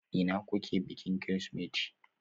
Ina kuke bikin Kirsimeti?